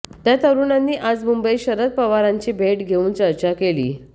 त्या तरुणांनी आज मुंबईत शरद पवारांची भेट घेऊन चर्चा केली